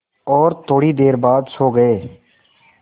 और थोड़ी देर बाद सो गए